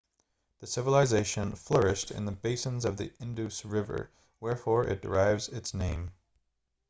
the civilisation flourished in the basins of the indus river wherefore it derives its name